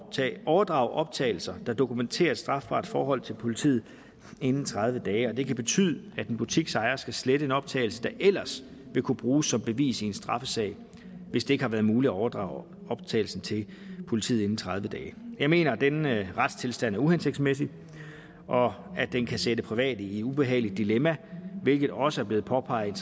at overdrage optagelser der dokumenterer et strafbart forhold til politiet inden tredive dage og det kan betyde at en butiksejer skal slette en optagelse der ellers ville kunne bruges som bevis i en straffesag hvis det ikke har været muligt at overdrage optagelsen til politiet inden tredive dage jeg mener at denne retstilstand er uhensigtsmæssig og at den kan sætte private i et ubehageligt dilemma hvilket også er blevet påpeget